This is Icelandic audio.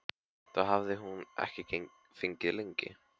Það hafði hún ekki fengið lengi.